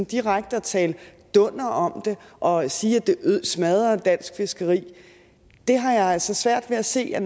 direkte at tale dunder om det og sige at det smadrer dansk fiskeri har jeg altså svært ved at se er